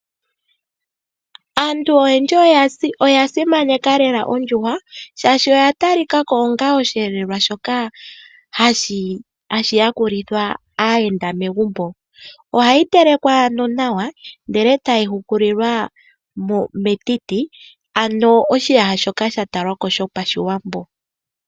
Aantu oyendji oya simaneka lela ondjuhwa shaashi oya talika ko onga osheelelwa shoka hashi ya kulithwa aayenda megumbo. Ohayi telekwa no nawa ndele tayi hukulilwa metiti, ano oshiyasha shoka sha talwako sho pashiwambo .